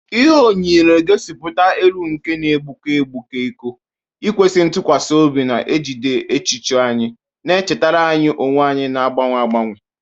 Ihe onyóyó na-egosipụta elu nke na-egbuke egbuke iko, ikwesị ntụkwasị obi na-ejide echiche anyị, na-echetara anyị onwe anyị na-agbanwe agbanwe